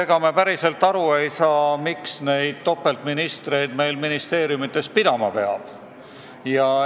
Ega me päriselt aru ei saa, miks peab meie ministeeriumides pidama topelt ministreid.